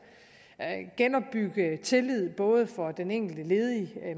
og genopbygge tillid både for den enkelte ledige